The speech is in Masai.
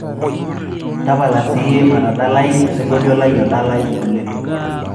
tapala siye matadala osingolio lai odalai oleng